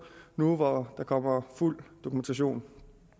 nu hvor der kommer fuld dokumentation